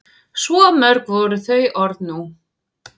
Svo mörg voru þau orð nú.